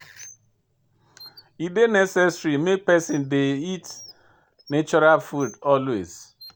E dey necessary make pesin dey eat natural food always.